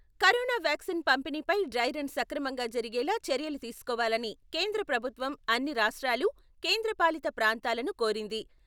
Corona vaccine పంపిణీపై dry run సక్రమంగా జరిగేలా చర్యలు తీసుకోవాలని కేంద్ర ప్రభుత్వం అన్ని రాష్ట్రాలు, కేంద్రపాలిత ప్రాంతాలను కోరింది.